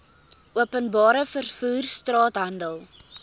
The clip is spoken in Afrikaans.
openbare vervoer straathandel